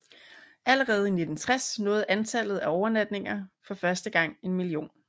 Allerede i 1960 nåede antallet af overnatninger for første gang en million